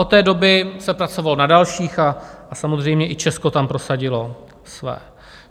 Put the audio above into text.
Od té doby se pracovalo na dalších a samozřejmě i Česko tam prosadilo své.